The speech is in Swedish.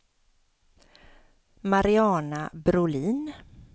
Mariana Brolin